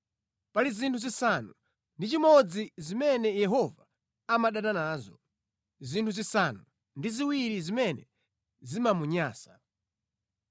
Pali zinthu zisanu ndi chimodzi zimene Yehova amadana nazo, zinthu zisanu ndi ziwiri zimene zimamunyansa: